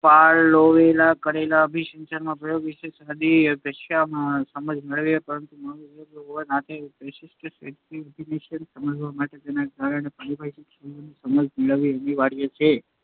પાવલોવે કરેલા અભિસંધાનનાં પ્રયોગ વિષેની સાદી, સરળ ભાષામાં સમજ મેળવી, પરંતુ મનોવિજ્ઞાનના વિદ્યાર્થી હોવાના નાતે પ્રશિષ્ટ અભિસંધાનને સમજવા માટે તેના કેટલાંક પારિભાષિક શબ્દોની સમજ મેળવવી અનિવાર્ય છે.